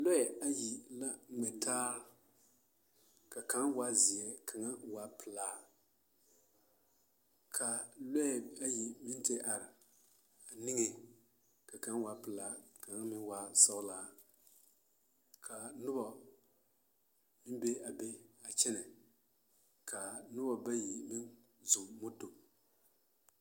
Lɔɛ ayi la ŋmɛtaa ka kaŋ waa zeɛ ka kaŋ waa pelaa ka lɔɛ ayi meŋ te are a niŋeŋ ka kaŋ waa pelaa ka kaŋ meŋ waa sɔɔlaa ka noba meŋ be a be kyɛnɛ ka noba bayi meŋ zɔɔ moto.